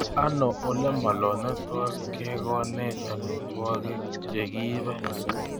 Ano olemaloo netos kegonech amitwogik chegiipe